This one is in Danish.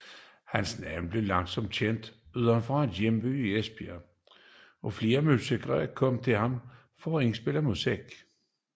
Hans navn blev langsomt kendt uden for hjembyen Esbjerg og flere musikere kom til ham for at indspille musik